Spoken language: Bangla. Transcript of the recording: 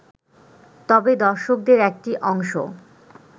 তবে দর্শকদের একটি অংশ